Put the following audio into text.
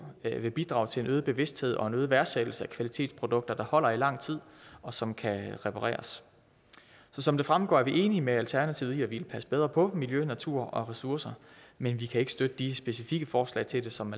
vil bidrage til en øget bevidsthed og en øget værdsættelse af kvalitetsprodukter der holder i lang tid og som kan repareres så som det fremgår er vi enige med alternativet i at vi vil passe bedre på miljø natur og ressourcer men vi kan ikke støtte de specifikke forslag til det som